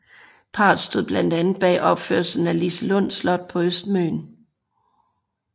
Parret stod blandt andet bag opførelsen af Liselund Slot på Østmøn